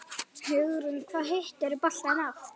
Hugrún: Hvað hittirðu boltann oft?